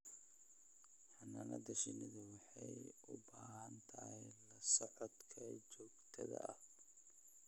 Xannaanada shinnidu waxay u baahan tahay la socodka joogtada ah.